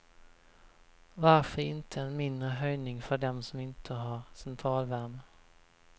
Varför inte en mindre höjning för dem som inte har centralvärme.